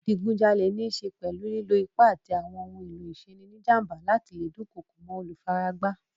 Ìdigunjalè níṣe pẹ̀lú lílo ipá àti àwọn ohun-èlò ìṣeni-níjàm̀ba láti le dunkoko mọ́ olùfaragbá.